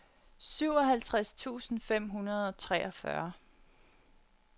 syvoghalvtreds tusind fem hundrede og treogfyrre